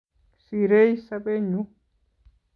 Sirei sobenyu